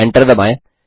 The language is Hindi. ENTER दबाएँ